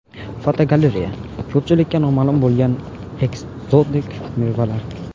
Fotogalereya: Ko‘pchilikka noma’lum bo‘lgan ekzotik mevalar.